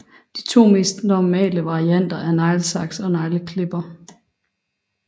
De to mest normale varianter er neglesaks og negleklipper